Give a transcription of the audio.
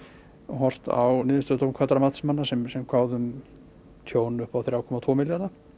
horft á niðurstöðu dómkvaddra matsmanna sem sem kváðu um tjón upp á þrjá komma tvo milljarða